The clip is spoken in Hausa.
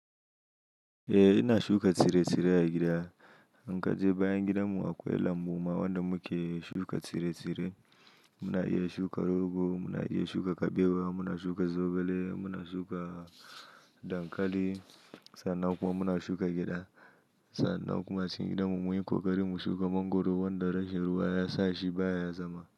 Eh ina shuka tsire-tsire a gida. In kaje bayan gidanmu akwai lambu ma wanda muke shuka tsire-tsire. Muna iya shuka rogo, muna iya shuka kabewa, muna shuka zogale, muna shuka dankali sannan kuma muna shuka gyada. Sannan kuma cikin gidan mu munyi ƙoƙari mu shuka mangwaro wanda rashin ruwa ya sa shi baya zama.